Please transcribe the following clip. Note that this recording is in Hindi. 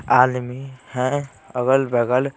आदमी हैं अगल-बगल--